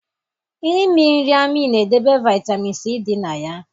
Imi nri amị na edebe vitamin c di na ya